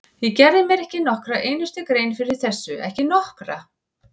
Ég gerði mér ekki nokkra einustu grein fyrir þessu, ekki nokkra!